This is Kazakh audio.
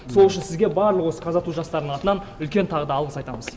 сол үшін сізге барлық осы казату жастарының атынан үлкен тағы да алғыс айтамыз